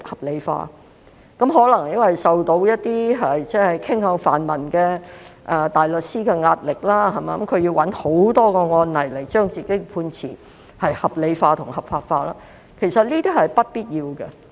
這可能是因為法官受到一些傾向泛民陣營的大律師的壓力，故此便要找很多案例來將其判詞合理化、合法化，但這其實是不必要的。